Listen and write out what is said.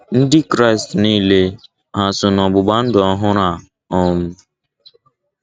Ndị Kraịst niile hà so n’ọgbụgba ndụ ọhụrụ a um?